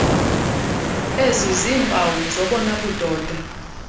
eziziiimpawu zobona budoda